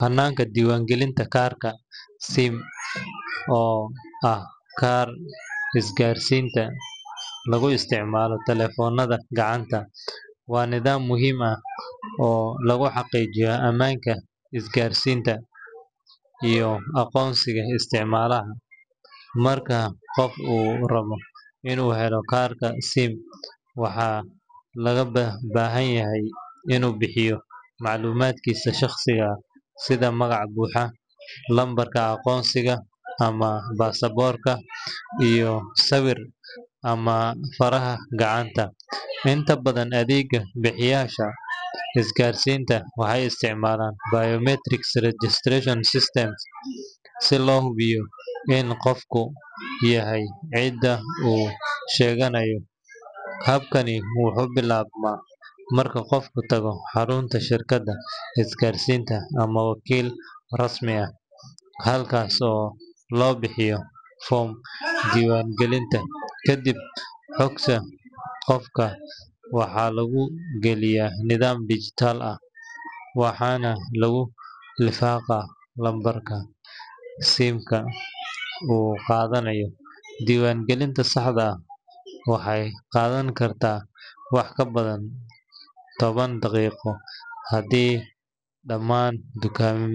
Hannaanka diiwaangelinta kaarka SIM, oo ah kaarka isgaarsiinta lagu isticmaalo taleefannada gacanta, waa nidaam muhiim ah oo lagu xaqiijiyo ammaanka isgaarsiinta iyo aqoonsiga isticmaalaha. Marka qof uu rabo inuu helo kaarka SIM, waxaa looga baahan yahay inuu bixiyo macluumaadkiisa shaqsiyadeed sida magac buuxa, lambarka aqoonsiga ama baasaboorka, iyo sawir ama faraha gacanta. Inta badan, adeeg bixiyeyaasha isgaarsiinta waxay isticmaalaan biometric registration systems si loo hubiyo in qofku yahay cidda uu sheeganayo. Habkan wuxuu bilaabmaa marka qofku tago xarunta shirkadda isgaarsiinta ama wakiil rasmi ah, halkaas oo loo buuxiyo foom diiwaangelin. Kadib, xogta qofka waxaa lagu geliyaa nidaam digital ah, waxaana lagu lifaaqaa lambarka SIM-ka uu qaadanayo. Diiwaangelinta saxda ah waxay qaadan kartaa wax ka yar toban daqiiqo haddii dhammaan.